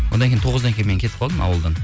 одан кейін тоғыздан кейін мен кетіп қалдым ауылдан